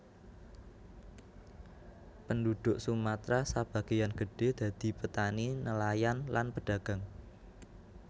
Penduduk Sumatra sabagéan gedhé dadi petani nelayan lan pedagang